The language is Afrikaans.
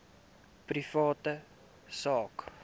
privaat sak